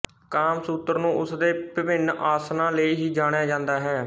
ਕਾਮਸੂਤਰ ਨੂੰ ਉਸ ਦੇ ਵਿਭਿੰਨ ਆਸਣਾਂ ਲਈ ਹੀ ਜਾਣਿਆ ਜਾਂਦਾ ਹੈ